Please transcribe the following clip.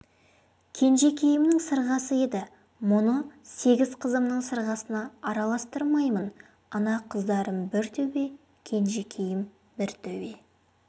кенжекейімнің сырғасы еді мұны сегіз қызымның сырғасына араластырмаймын ана қыздарым бір төбе кенжекейім бір төбе